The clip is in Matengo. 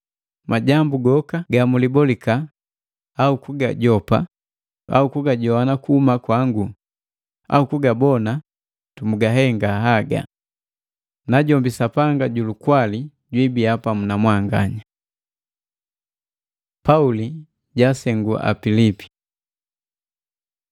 Majambu goka gamwiliboliki au kugajopa au kugajoana kuhuma kwangu, au kugabona, mugahenga haga. Najombi Sapanga ju lukwali jwibiya pamu na mwanganya. Pauli jaansengu Apilipi